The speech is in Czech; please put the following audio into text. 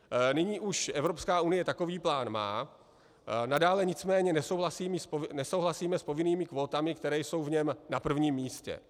Nyní už Evropská unie takový plán má, nadále nicméně nesouhlasíme s povinnými kvótami, které jsou v něm na prvním místě.